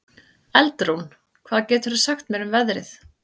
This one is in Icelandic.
Eldrún, hvað geturðu sagt mér um veðrið?